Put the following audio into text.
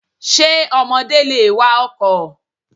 Ṣé ọmọdé lè wa ọkọ̀?